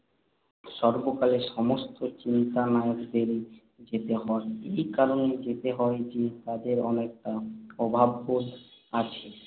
সর্বকালের সমস্ত চিন্তানায়কদেরই যেতে হয়। এই কারণেই যেতে হয় যে, তাঁদেরও একটা অভাববোধ আছে।